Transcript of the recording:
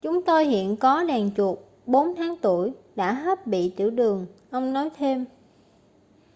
chúng tôi hiện có đàn chuột 4 tháng tuổi đã hết bị tiểu đường ông nói thêm